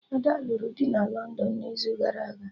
Ada lụrụ di na London n'izu gara aga